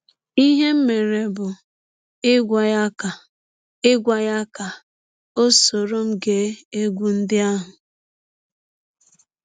Ihe m mere bụ ịgwa ya ka ịgwa ya ka ọ sọrọ m gee egwụ ndị ahụ.